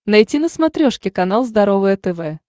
найти на смотрешке канал здоровое тв